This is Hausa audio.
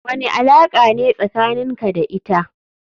Wani alaka ne tsakanin ka da ita.